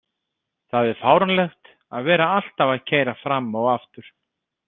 Það er fáránlegt að vera alltaf að keyra fram og aftur.